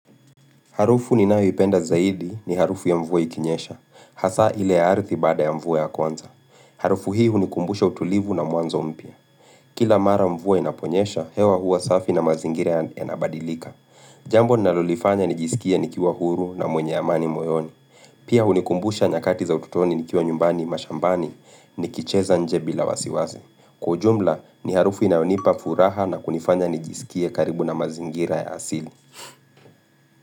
Harufu ninawipenda zaidi ni harufu ya mvua ikinyesha, hasa ile ardhi baada ya mvua ya kwanza. Harufu hii hunikumbusha utulivu na mwanzo mpya. Kila mara mvua inaponyesha, hewa hua safi na mazingire yanabadilika. Jambo ninalolifanya nijisikia nikiwa huru na mwenye amani moyoni. Pia hnikumbusha nyakati za ututoni nikiwa nyumbani mashambani ni kicheza nje bila wasiwazi. Kwa jumla, ni harufu inayonipa furaha na kunifanya nijisikia karibu na mazingira ya asili.